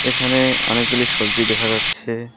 এখানে অনেকগুলি সবজি দেখা যাচ্ছে।